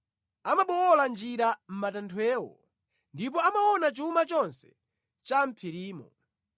Amabowola njira mʼmatanthwewo; ndipo amaona chuma chonse cha mʼphirimo.